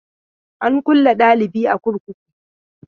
An kulle dalibi a kurkuku.